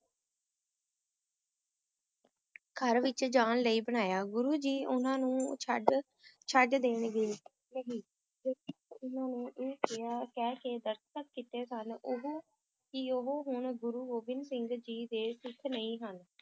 ਘਰ ਵਿਚ ਜਾਣ ਲਈ ਬਣਾਇਆ, ਗੁਰੂ ਜੀ ਉਨ੍ਹਾਂ ਨੂੰ ਛੱਡ ਛੱਡ ਦੇਣਗੇ ਉਨ੍ਹਾਂ ਨੇ ਇਹ ਕਿਹਾ ਕਹਿ ਕੇ ਦਸਤਖਤ ਕੀਤੇ ਸਨ ਉਹ ਕਿ ਉਹ ਹੁਣ ਗੁਰੂ ਗੋਬਿੰਦ ਸਿੰਘ ਜੀ ਦੇ ਸਿੱਖ ਨਹੀਂ ਹਨ,